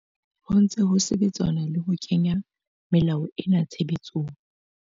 Ho ntse ho sebetsanwa le ho kenya melao ena tshebetsong.